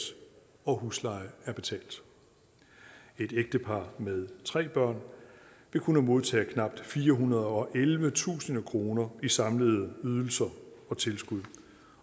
og husleje er betalt et ægtepar med tre børn vil kunne modtage knap firehundrede og ellevetusind kroner i samlede ydelser og tilskud